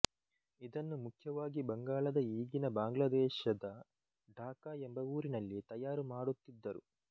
ಇದನ್ನು ಮುಖ್ಯವಾಗಿ ಬಂಗಾಳದ ಈಗಿನ ಬಾಂಗ್ಲಾದೇಶದ ಢಾಕ ಎಂಬ ಊರಿನಲ್ಲಿ ತಯಾರು ಮಾಡುತ್ತಿದ್ದರು